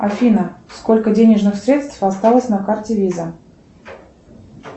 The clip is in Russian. афина сколько денежных средств осталось на карте виза